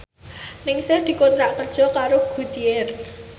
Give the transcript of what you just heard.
Ningsih dikontrak kerja karo Goodyear